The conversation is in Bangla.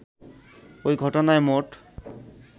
ওই ঘটনায় মোট